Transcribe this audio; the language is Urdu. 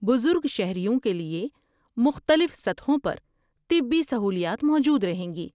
بزرگ شہریوں کے لیے مختلف سطحوں پر طبی سہولیات موجود رہیں گی۔